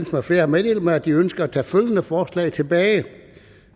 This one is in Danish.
med flere har meddelt mig at de ønsker at tage følgende forslag tilbage